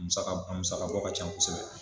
A musaka bɔ ca kosɛbɛ.